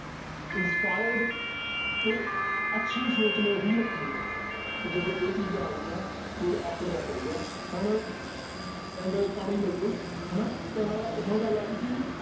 inspired ਤੇ ਅੱਛੀ ਸੋਚ ਨੇ ਹੀ ਰੱਖਣੀ ਹੈ ਇੱਥੇ ਤੇ ਜਦੋਂ ਇਹ ਚੀਜ਼ਾਂ ਆ ਗਈਆਂ ਫਿਰ ਆਪਣੇ ਆਪ ਆਊਗਾ ਹੁੁਣ end ਕਰ ਹੀ ਲਈਏ ਹਨਾ ਤਾਂ ਹੁਣ ਗੱਲ ਆ ਗਈ ਸੀ